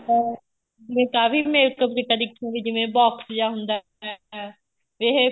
ਆਪਾਂ ਇੱਕ ਆ ਵੀ makeup ਦੀ kit ਹੋ ਗਈ ਜਿਵੇਂ box ਜਾ ਹੁੰਦਾ ਹੈ ਇਹ